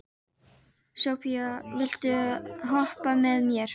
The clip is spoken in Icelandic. Sophia, viltu hoppa með mér?